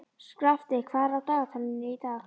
Skafti, hvað er á dagatalinu í dag?